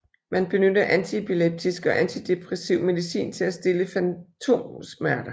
Man benytter antiepileptisk og antidepressiv medicin til at stille fantomsmerter